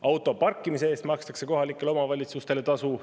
Auto parkimise eest makstakse kohalikele omavalitsustele tasu.